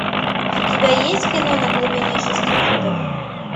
у тебя есть кино на глубине шести футов